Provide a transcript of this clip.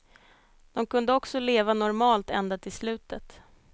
De kunde också leva normalt ända till slutet.